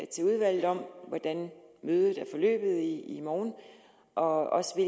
til udvalget om hvordan mødet er forløbet i morgen og også